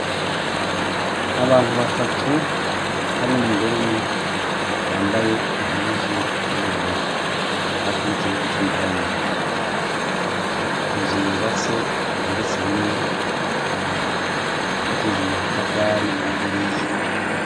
Abantu batatu, harimwo umugore umwe yambaye impuzu z'ubururu, hafi y'ikibuga c'umupira w'amaboko. Inzu yubatse igeretse rimwe, yubakishije amatafari ahiye.